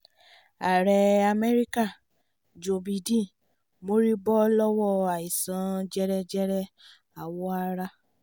ààrẹ amẹ́ríkà joe bidden mọríbó lọ́wọ́ àìsàn jẹjẹrẹ àwọ̀ ara